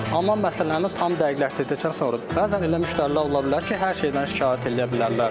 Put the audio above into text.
Amma məsələni tam dəqiqləşdirdikdən sonra bəzən elə müştərilər ola bilər ki, hər şeydən şikayət eləyə bilərlər.